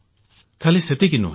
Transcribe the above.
ଖାଲି ସେତିକି ନୁହେଁ